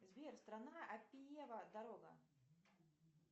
сбер страна аппиева дорога